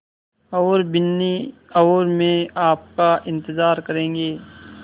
और बिन्नी और मैं आपका इन्तज़ार करेंगे